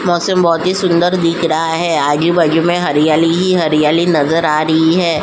मौसम बहुत ही सुंदर दिख रहा है आजू-बाजू में हरियाली ही हरियाली नज़र आ रही हैं।